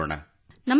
ನಮಸ್ಕಾರ ಸರ್